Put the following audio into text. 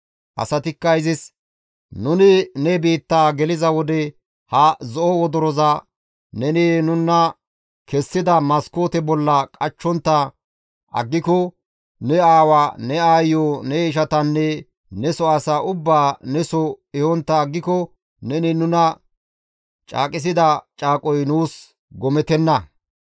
Asatikka izis, «Nuni ne biitta geliza wode ha zo7o wodoroza neni nuna kessida maskoote bolla qachchontta aggiko ne aawa, ne aayiyo, ne ishatanne neso asaa ubbaa neso ehontta aggiko neni nuna caaqisida caaqoy nuus gomettenna.